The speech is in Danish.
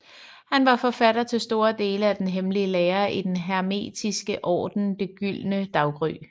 Han var forfatter til store dele af den hemmelige lære i Den Hermetiske Orden Det Gyldne Daggry